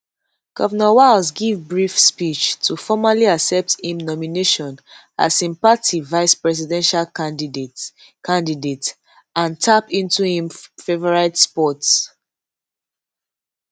govnor walz give a brief speech to formally accept im nomination as im party vicepresidential candidate candidate and tap into im favourite sport